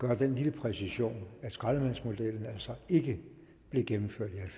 med den lille præcisering at skraldemandsmodellen altså ikke blev gennemført i